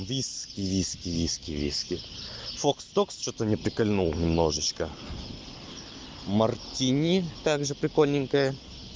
виски виски виски виски фокс догс что-то не прикольнул немножечко мартини также прикольненькое